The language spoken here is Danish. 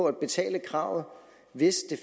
at betale kravet hvis det